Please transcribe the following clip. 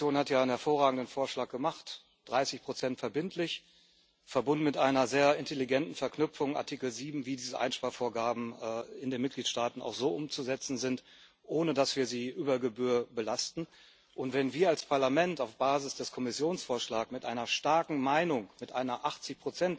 Die Kommission hat ja einen hervorragenden Vorschlag gemacht 30 verbindlich, verbunden mit einer sehr intelligenten Verknüpfung mit Artikel 7, wie diese Einsparvorgaben in den Mitgliedstaaten auch so umzusetzen sind, ohne dass wir sie über Gebühr belasten. Und wenn wir als Parlament auf Basis des Kommissionsvorschlags mit einer starken Meinung, mit einer 80